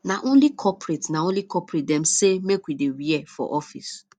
na only corporate na only corporate dem sey make we dear wear for office